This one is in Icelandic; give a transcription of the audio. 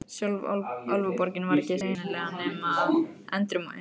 Sjálf Álfaborgin var ekki sýnileg nema endrum og eins.